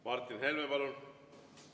Martin Helme, palun!